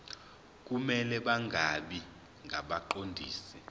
kumele bangabi ngabaqondisi